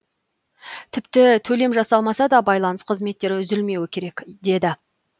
тіпті төлем жасалмаса да байланыс қызметтері үзілмеуі керек деді